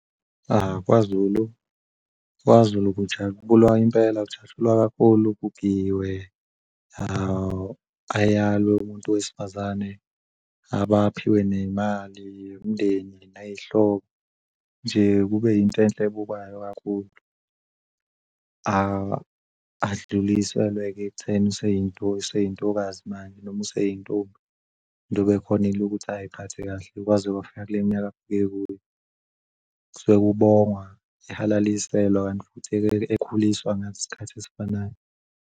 KwaZulu, kwaZulu kujatshulwa impela kujatshulwa kakhulu kugiywe ayalwe umuntu wesifazane abaphiwe nemali umndeni nay'hobo nje Kube yinto enhle ebukwayo kakhulu. Adluliselwe ke ekutheni manje useyintombi njengoba ekhonile ukuthi aziphathe kahle kwaze kwafika kule minyaka afike kuyo kusuke kubongwa ehalaliselwa kanti futhi-ke ekhuliswa ngaso leso sikhathi esifanayo.